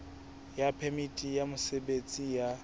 ya phemiti ya mosebetsi ya